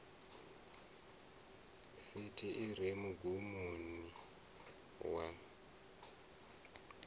sithi i re mugumoni wa